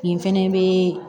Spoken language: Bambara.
Nin fɛnɛ bɛ